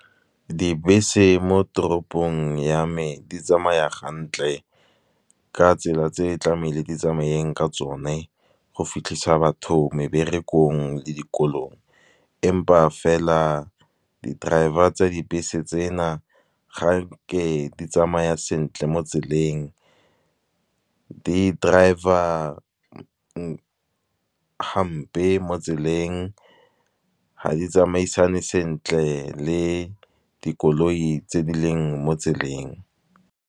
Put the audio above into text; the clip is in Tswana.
Dibese mo toropong ya me di tsamaya gantle ka tsela tse tlameile di tsamayeng ka tsone. Go fitlhisa batho meberekong le dikolong, empa fela di-driver tsa dibese tsena, ga nke di tsamaya sentle mo tseleng. Di-driver hampe mo tseleng ha di tsamaisane sentle le dikoloi tse di leng mo tseleng.